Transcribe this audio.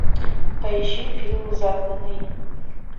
поищи фильм загнанный